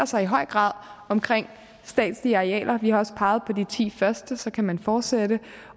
sig i høj grad omkring statslige arealer og vi har også peget på de ti første så kan man fortsætte